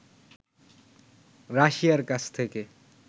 রাশিয়ার কাছ থেকে